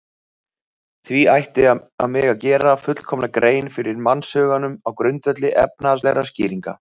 Því ætti að mega gera fullkomna grein fyrir mannshuganum á grundvelli efnislegra skýringa.